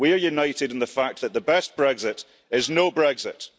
We are united in the fact that the best Brexit is no Brexit.